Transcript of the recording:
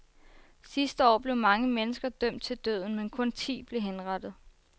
Sidste år blev mange mennesker dømt til døden, men kun ti blev henrettet.